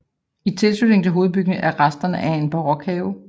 I tilslutning til hovedbygningen er resterne af en barokhave